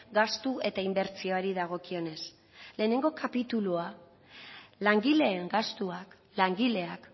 gastu eta inbertsioari dagokionez lehenengo kapitulua langileen gastuak langileak